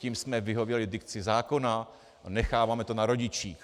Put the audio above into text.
Tím jsme vyhověli dikci zákona a necháváme to na rodičích.